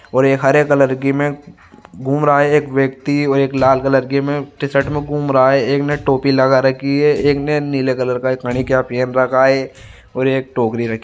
और हरे कलर की में घूम रहा है एक व्यक्ति और एक लाल कलर की में टी शर्ट में घूम रहा है एक ने टोपी लगा रखी है एक ने नीले कलर का क्या पहन के रखा है और एक टोकरी रखी है।